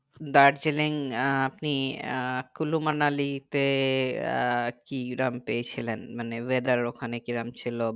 দার্জিলিং আহ আপনি আহ কুলুমানালী তে আহ কি রকম পেয়েছিলেন মানে whether ওখানে কি রকম ছিল